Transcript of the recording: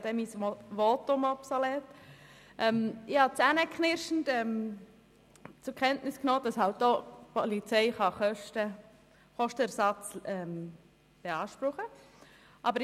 Zähneknirschend habe ich zur Kenntnis genommen, dass die Polizei Kostenersatz beanspruchen kann.